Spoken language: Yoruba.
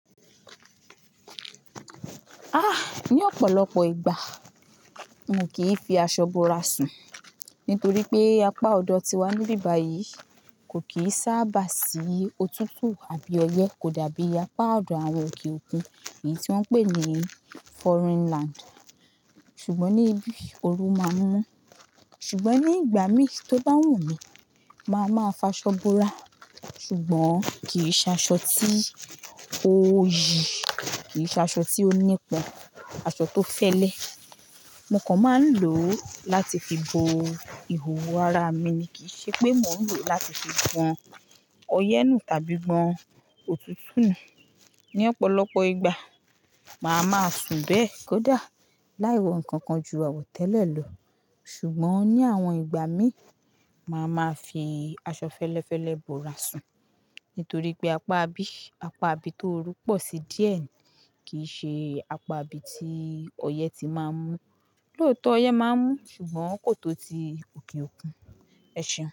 Ah! Ni ọ̀pọ̀lọpọ̀ ìgbà mo kì í fi aṣọ bora sun, nítorí pé apá ọ̀dọ̀ tiwa níbi bàyìí kò kì í sábà sí òtútù àbí ọyẹ́ kò dàbí apá ọ̀dọ̀ àwọn òkè òkun èyí tí wọ́n ń pè ní foreign land. Ṣùgbọ́n ní ibí, ooru máa ń mú. Ṣùgbọ́n ní ìgbà mí tó bá wù mí, màá máa fa aṣọ bora, ṣùgbọ́n kì í ṣe aṣọ tí ó yíi, kì í ṣe aṣọ tí ó nípọn, aṣọ tó fẹ́lẹ́. Mo kàn máa ń lò ó láti fi bo ìhòòhò ara mi, kì í ṣe pé mò ń lò ó láti fi gbọ́n ọyẹ́ nù tàbí gbọ́n òtútù nù. Ni ọ̀pọ̀lọpọ̀ ìgbà, màá máa sun bẹ́ẹ̀ kódà, láì wọ ǹkan kan ju àwọ̀tẹ́lẹ̀ lọ. Ṣùgbọ́n ní àwọn ìgbà mí, màá máa fi aṣọ fẹ́lẹ́fẹ́lẹ́ bora sun, nítorí pé apá bí, apá bí tó ru pọ̀ sí díẹ̀ kì í ṣe apá bí tí ọyẹ́ ti máa ń mú. Lóòótọ́ ọyẹ́ máa ń mú, ṣùgbọ́n kò tó ti òkè òkun. Ẹ ṣeun.